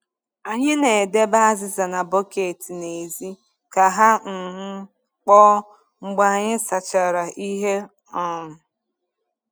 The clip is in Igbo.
Anyị na-edebe azịza na bọket n’èzí ka ha um kpoo mgbe anyị sachara ihe. um